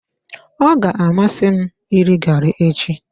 Ọ ga-amasị m iri gari echi.